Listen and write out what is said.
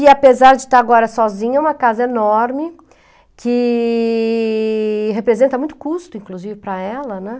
E, apesar de estar agora sozinha, é uma casa enorme, que representa muito custo, inclusive, para ela, né?